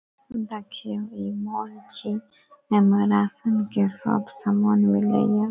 देखियो इ मॉल छीये एमे राशन के सब सामान मिलय ये।